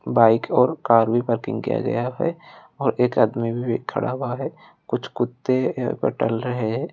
Bike और car भी parking किया गया है और एक आदमी भी खड़ा हुआ है। कुछ कुत्ते ब टहल रहे है।